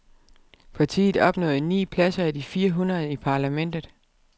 Partiet opnåede ni pladser af de fire hundrede i parlamentet.